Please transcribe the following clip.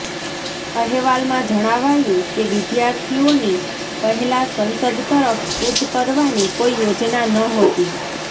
અહેવાલમાં જણાવાયું કે વિદ્યાર્થીઓની પહેલા સંસદ તરફ કૂચ કરવાની કોઈ યોજના નહોતી